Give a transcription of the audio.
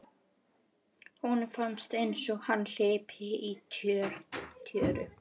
Honum fannst einsog hann hlypi í tjöru.